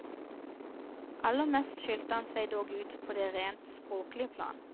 Aller mest skilte han seg dog ut på det rent språklige plan.